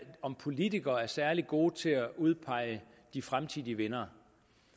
om politikere er særlig gode til at udpege de fremtidige vindere